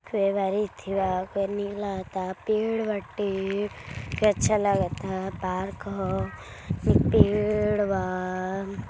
बा पे नीक लागता पेड़ बाटे फिर अच्छा लागता पार्क ह इ पेड़ बा --